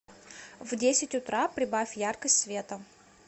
в десять утра прибавь яркость света